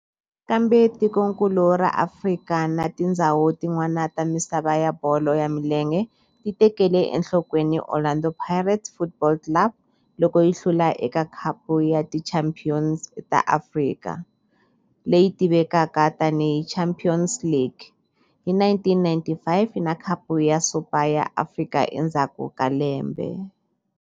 Kambe tikonkulu ra Afrika na tindzhawu tin'wana ta misava ya bolo ya milenge ti tekele enhlokweni Orlando Pirates Football Club loko yi hlula eka Khapu ya Tichampion ta Afrika, leyi tivekaka tani hi Champions League, hi 1995 na Khapu ya Super ya Afrika endzhaku ka lembe.